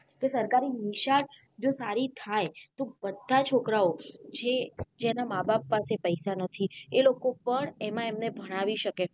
જે સરકારી નિશાળો જો સારી થાય તો બધા છોકરાઓ જે જેના માં બાપ પાસે પઈસા નથી એ લોકો પણ એમાં એમને ભણાવી શકે.